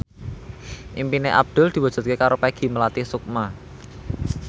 impine Abdul diwujudke karo Peggy Melati Sukma